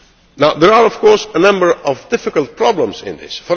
Now there are of course a number of difficult problems in this.